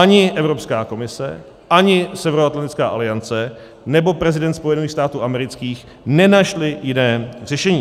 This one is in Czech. Ani Evropská komise, ani Severoatlantická aliance nebo prezident Spojených států amerických nenašli jiné řešení.